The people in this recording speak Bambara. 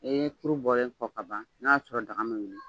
E ye furu bɔlen kɔ kaban n'a y'a sɔrɔ daga ma wuli